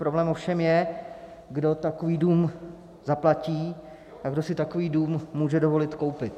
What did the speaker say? Problém ovšem je, kdo takový dům zaplatí a kdo si takový dům může dovolit koupit.